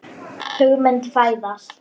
Hugmynd fæðist.